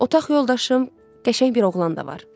Otaq yoldaşım qəşəng bir oğlan da var.